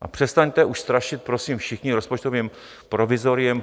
A přestaňte už strašit, prosím, všichni rozpočtovým provizoriem.